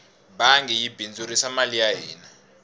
bangi yi bindzurisa mali ya hina